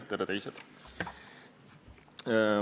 Tere, teised!